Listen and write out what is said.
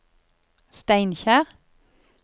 Steinkjer